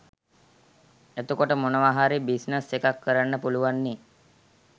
එතකොට මොනව හරි බිස්‌නස්‌ එකක්‌ කරන්න පුළුවන්නේ